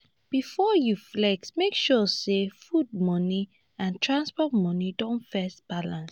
before you flex make sure say food money and transport money don first balance.